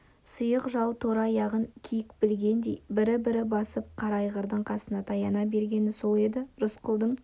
сұйық жал торы аяғын киік билегендей бір-бір басып қара айғырдың қасына таяна бергені сол еді рысқұлдың